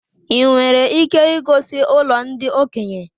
I nwere ike igosi ụlọ ndị okenye?